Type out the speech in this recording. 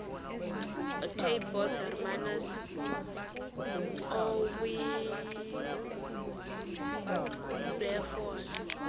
ootaaibos hermanus oowilberforce